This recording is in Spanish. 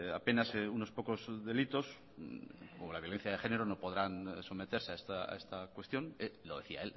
apenas unos pocos delitos como la violencia de género no podránsometerse a esta cuestión lo decía